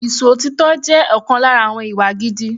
Ìṣòtítọ́ jẹ́ ọ̀kan lára àwọn ìwà gidi.